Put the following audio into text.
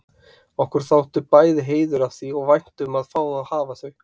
Okkur þótti bæði heiður af því og vænt um að fá að hafa þau.